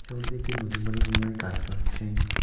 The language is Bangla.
মোটামুটি দেখছি নতুন বাড়ি নির্মাণের কাজ চলছে।